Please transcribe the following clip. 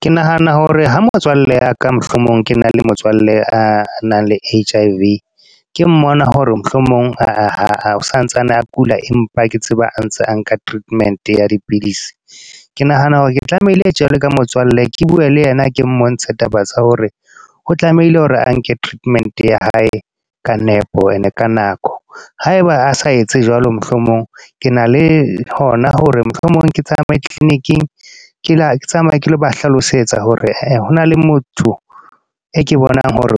Ke nahana hore ha motswalle ya ka, mohlomong ke na le motswalle a nang le H_I_V. Ke mmona hore mohlomong a santsane a kula. Empa ke tseba a ntse a nka treatment ya dipidisi. Ke nahana hore ke tlamehile jwalo ka motswalle ke bue le yena ke mmontshe taba tsa hore o tlamehile hore a nke treatment ya hae ka nepo, e ne ka nako. Haeba a sa etse jwalo mohlomong, ke na le hona hore mohlomong ke tsamaye clinic-ing ke tsamaya ke lo ba hlalosetsa hore hona le motho e ke bonang hore